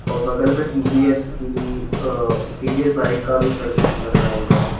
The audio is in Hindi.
और बगल में टी_वी_एस की भी अ टी_वी_एस बाइक का भी सर्विस लग रहा हुआ है।